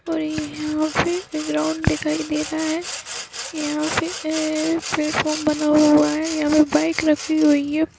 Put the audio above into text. और ये यहाँ पे एक ग्राउण्ड दिखाई दे रहा है यहाँ पे ए-ए-ए प्लेटफार्म बना हुआ है यहाँ पर बाइक रखी हुई है ।